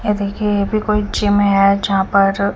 ये देखिये ये भी कोई जिम है जहा पर--